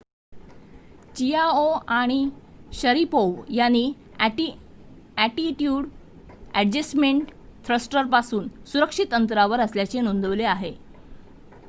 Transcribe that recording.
Chiao आणि Sharipov यांनी attitude adjustment थ्रस्टरपासून सुरक्षित अंतरावर असल्याचे नोंदवले आहे